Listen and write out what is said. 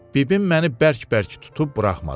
Bibim məni bərk-bərk tutub buraxmadı.